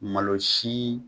Malo si